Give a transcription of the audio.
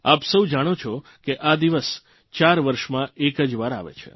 આપ સૌ જાણો છો કે આ દિવસ ચાર વર્ષમાં એક જ વાર આવે છે